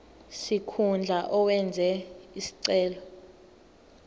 sikhundla owenze isicelo